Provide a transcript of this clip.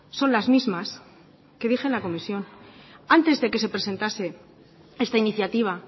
son las mismas que dije en la comisión antes de que se presentase esta iniciativa